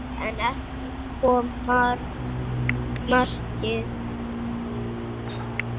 En ekki kom markið.